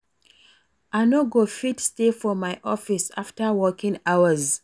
I no go fit stay for my office after working hours